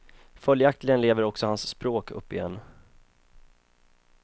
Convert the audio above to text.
Följaktligen lever också hans språk upp igen.